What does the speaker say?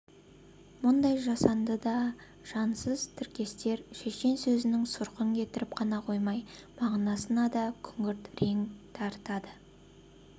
мұндай жасанды да жансызтіркестер шешен сөзінің сұрқын кетіріп қана қоймай мағынасына да күңгірт реңк дарытады